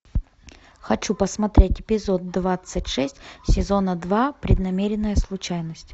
хочу посмотреть эпизод двадцать шесть сезона два преднамеренная случайность